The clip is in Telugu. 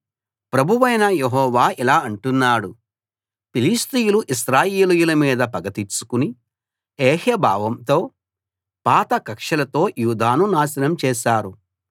ప్రభువైన యెహోవా ఇలా అంటున్నాడు ఫిలిష్తీయులు ఇశ్రాయేలీయుల మీద పగ తీర్చుకుని ఏహ్య భావంతో పాత కక్షలతో యూదాను నాశనం చేశారు